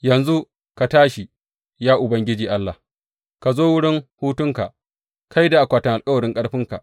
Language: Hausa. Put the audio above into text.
Yanzu ka tashi, ya Ubangiji Allah, ka zo wurin hutunka, kai da akwatin alkawarin ƙarfinka.